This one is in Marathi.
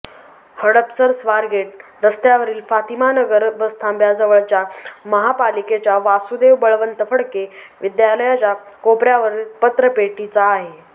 हडपसर स्वारगेट रस्त्यावरील फातीमानगर बसथांब्याजवळच्या महापालिकेच्या वासूदेव बळवंत फडके विद्यालयाच्या कोपऱ्यावरील पत्रपेटीचा आहे